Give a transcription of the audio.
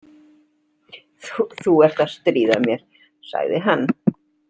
Þú ert að stríða mér, sagði hann.